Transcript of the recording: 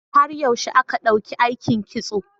Har yaushe aka ɗauki aikin Kitso?